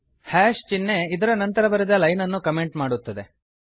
hash ಚಿಹ್ನೆ ಇದರ ನಂತರ ಬರೆದ ಲೈನ್ ಅನ್ನು ಕಮೆಂಟ್ ಮಾಡುತ್ತದೆ